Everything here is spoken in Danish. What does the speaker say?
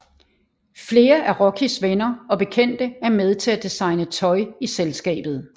Flere af Rockys venner og bekendte er med til at designe tøj i selskabet